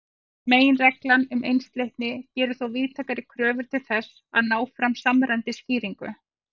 Meginreglan um einsleitni gerir þó víðtækari kröfur til þess að ná fram samræmdri skýringu.